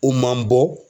U man bɔ